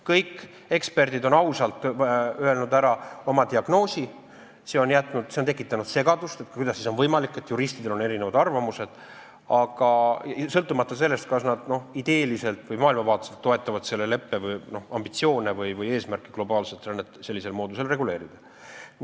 Kõik eksperdid on ausalt öelnud ära oma diagnoosi, sõltumata sellest, kas nad ideeliselt või maailmavaateliselt toetavad selle leppe ambitsioone või eesmärke globaalset rännet sellisel moodusel reguleerida.